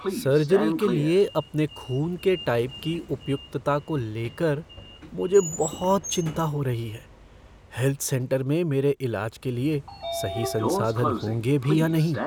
Surgery के लिए अपने खून के टाइप की उपयुक्तता को ले कर मुझे बहुत चिंता हो रही है। हैल्थ सेंटर में मेरे इलाज के लिए सही संसाधन होंगे भी या नहीं?